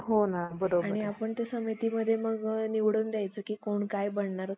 फजिती व निंदा होऊ लागली. व बु~ बुद्ध धर्माचा प्रसार होत चालला. हे पाहून त्यास सहन होईना. त्याने आपल्या लोकांचा